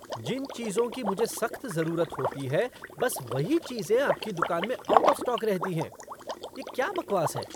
जिन चीज़ों की मुझे सख्त ज़रुरत होती है, बस वही चीज़ें आपकी दुकान में आउट ऑफ़ स्टॉक रहती हैं, यह क्या बकवास है।